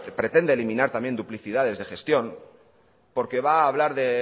pretende eliminar también duplicidades de gestión porque va a hablar de